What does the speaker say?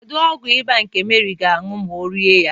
Kedu ọgwụ ịba ka Meri ga-aṅụ ma ọ rịa ya?